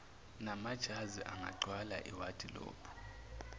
namajazi angagcwala iwadilophu